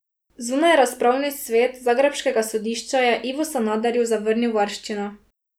Zunajrazpravni svet zagrebškega sodišča je Ivu Sanaderju zavrnil varščino.